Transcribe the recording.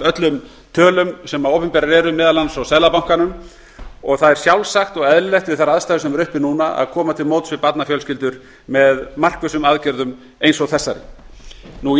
öllum tölum sem opinberar eru meðal annars frá seðlabankanum það er sjálfsagt og eðlilegt eins og staðan er núna að koma til móts við barnafjölskyldur með markvissum aðgerðum eins og þessari